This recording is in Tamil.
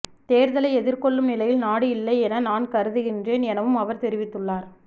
தேர்தலை எதிர்கொள்ளும் நிலையில் நாடு இல்லை என நான் கருதுகின்றேன் எனவும் அவர் தெரிவித்துள்ளார்